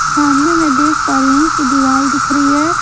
सामने मैं देख पा रही हूँ कि दीवाल दिख रही है।